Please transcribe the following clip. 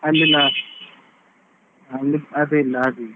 ಅಲ್ಲಿ ನನ್ ಅದೆಲ್ಲಾ ಆಡಿದ್ದು.